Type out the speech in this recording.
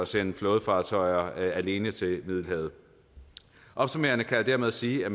sende flådefartøjer alene til middelhavet opsummerende kan jeg dermed sige at